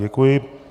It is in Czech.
Děkuji.